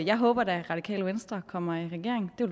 jeg håber da at radikale venstre kommer i regering det